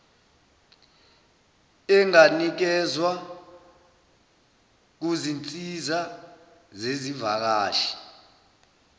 enganikezwa kuzinsiza zezivakashi